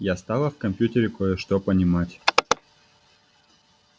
я стала в компьютере кое-что понимать